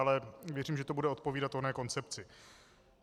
Ale věřím, že to bude odpovídat oné koncepci.